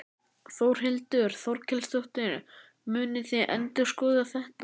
Þórhildur Þorkelsdóttir: Munið þið endurskoða þetta?